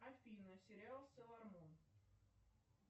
афина сериал соломон